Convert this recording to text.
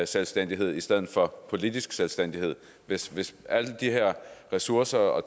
selvstændighed i stedet for politisk selvstændighed hvis hvis alle de ressourcer og